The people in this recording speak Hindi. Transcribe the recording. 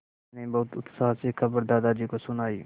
मैंने बहुत उत्साह से खबर दादाजी को सुनाई